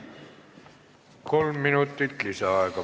Kolm minutit lisaaega.